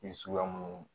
suguya minnu